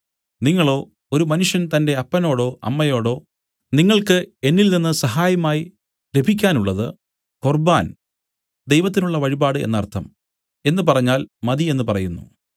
നിങ്ങളോ ഒരു മനുഷ്യൻ തന്റെ അപ്പനോടോ അമ്മയോടോ നിങ്ങൾക്ക് എന്നിൽനിന്ന് സഹായമായി ലഭിക്കാനുള്ളത് കൊർബ്ബാൻ ദൈവത്തിനുള്ള വഴിപാട് എന്നർത്ഥം എന്നു പറഞ്ഞാൽ മതി എന്നു പറയുന്നു